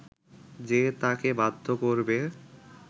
যে তাঁকে বাধ্য করবে